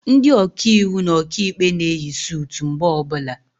Ndị Ọkaiwu na Ọkaikpe na eyi sutu mgbe ọbụla